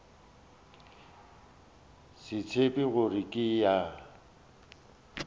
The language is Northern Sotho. se tsebe gore ke ya